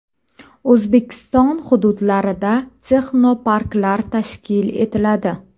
O‘zbekiston hududlarida texnoparklar tashkil etiladi.